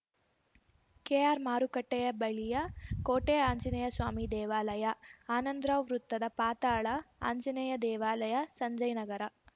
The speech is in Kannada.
ಕೆಆರ್‌ಮಾರುಕಟ್ಟೆಯಬಳಿಯ ಕೋಟೆ ಆಂಜನೇಯ ಸ್ವಾಮಿ ದೇವಾಲಯ ಆನಂದರಾವ್‌ ವೃತ್ತದ ಪಾತಾಳ ಆಂಜನೇಯ ದೇವಾಲಯ ಸಂಜಯನಗರ